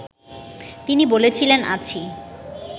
তিনি বলেছিলেন, আছি